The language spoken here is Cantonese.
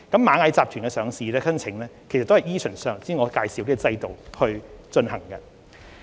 螞蟻集團的上市申請同樣依循上述制度進行。